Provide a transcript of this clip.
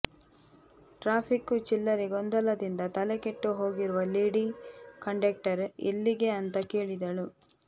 traffic ಚಿಲ್ಲರೆ ಗೊಂದಲದಿಂದ ತಲೆಕೆಟ್ಟು ಹೋಗಿರುವ ಲೇಡಿ ಕಂಡಕ್ಟರ್ ಎಲ್ಲಿಗೆ ಅಂತ ಕೇಳಿದಳು